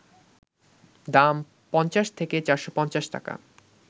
দাম ৫০ থেকে ৪৫০ টাকা